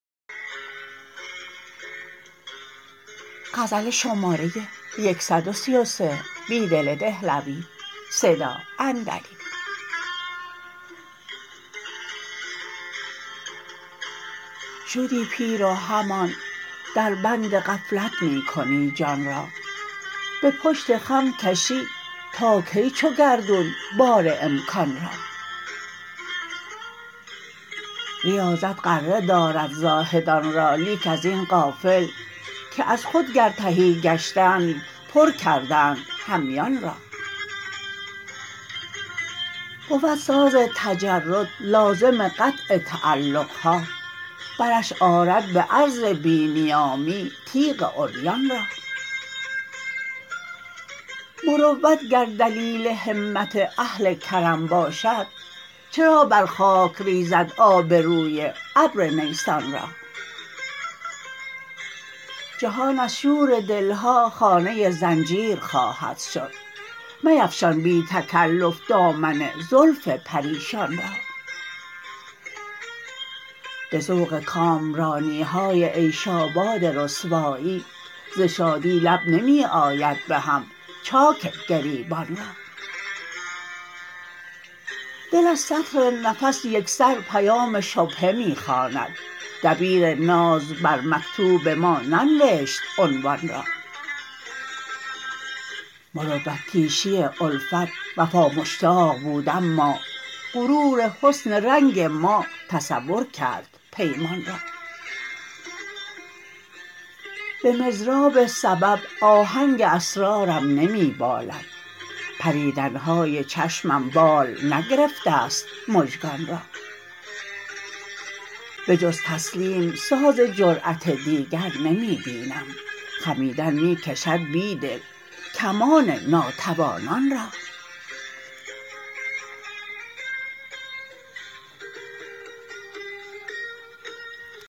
شدی پیر و همان در بند غفلت می کنی جان را به پشت خم کشی تا کی چو گردون بار امکان را ریاضت غره دارد زاهدان را لیک ازین غافل که از خود گر تهی گشتند پر کردند همیان را بود ساز تجرد لازم قطع تعلق ها برش رد به عرض بی نیامی تیغ عریان را مروت گر دلیل همت اهل کرم باشد چرا بر خاک ریزد آبروی ابر نیسان را جهان از شور دلها خانه زنجیر خواهد شد میفشان بی تکلف دامن زلف پریشان را به ذوق کامرانی های عیش آباد رسوایی ز شادی لب نمی آید به هم چاک گریبان را دل از سطر نفس یک سر پیام شبهه می خواند دبیر ناز بر مکتوب ما ننوشت عنوان را مروت کیشی الفت وفامشتاق بود اما غرور حسن رنگ ما تصور کرد پیمان را به مضراب سبب آهنگ اسرارم نمی بالد پریدن های چشمم بال نگرفته است مژگان را به جزتسلیم ساز جرأت دیگر نمی بینم خمیدن می کشد بیدل کمان ناتوانان را